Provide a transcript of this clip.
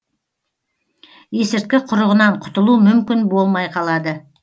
есірткі құрығынан құтылу мүмкін болмай қалады